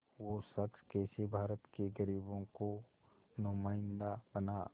वो शख़्स कैसे भारत के ग़रीबों का नुमाइंदा बना